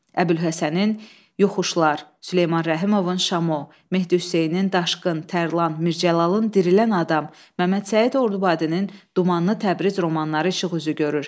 Əbülhəsənin Yoxuşlar, Süleyman Rəhimovun Şamo, Mehdi Hüseynin Daşqın, Tərlan, Mir Cəlalın Dirilən adam, Məmməd Səid Ordubadinin Dumanlı Təbriz romanları işıq üzü görür.